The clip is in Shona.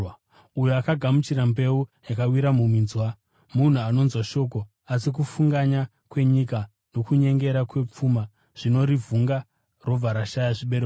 Uyo akagamuchira mbeu yakawira muminzwa, munhu anonzwa shoko asi kufunganya kwenyika nokunyengera kwepfuma zvinorivhunga robva rashaya zvibereko.